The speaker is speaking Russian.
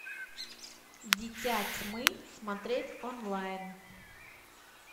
дитя тьмы смотреть онлайн